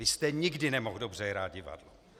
Vy jste nikdy nemohl dobře hrát divadlo.